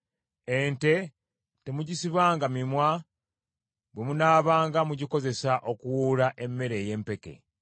Ente temugisibanga mimwa bwe munaabanga mugikozesa okuwuula emmere ey’empeke.